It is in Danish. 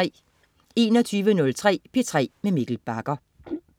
21.03 P3 med Mikkel Bagger